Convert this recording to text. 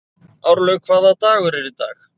Árlaug, hvaða dagur er í dag?